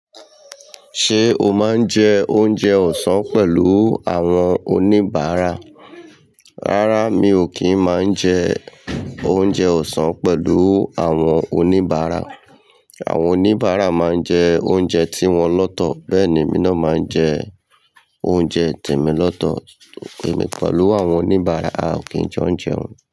Ṣé o máa ń jẹ oúnjẹ ọ̀sán pẹ̀lú àwọn oníbàárà? Rárá, mi ò kí ń máa ń jẹ oúnjẹ ọ̀sán pẹ̀lú àwọn oníbàárà. Àwọn oníbàárà máa ń jẹ oúnjẹ tí wọn lọ́tọ̀, bẹ́ẹ̀ ni, emi náà máa ń jẹ oúnjẹ tèmi lọ́tọ̀, èmi pẹ̀lú àwọn oníbàárà, a ò kí ń jo jẹún.